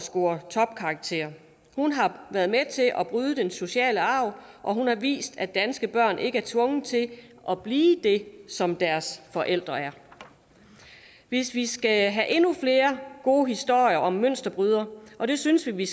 score topkarakterer hun har været med til at bryde den negative sociale arv og hun har vist at danske børn ikke er tvunget til at blive det som deres forældre er hvis vi skal have endnu flere gode historier om mønsterbrydere og det synes vi